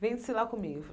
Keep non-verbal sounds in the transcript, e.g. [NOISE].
Vem descer lá. [UNINTELLIGIBLE]